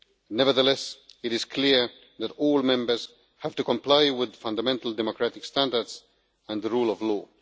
Nevertheless, it is clear that all Member States have to comply with fundamental democratic standards and the rule of law.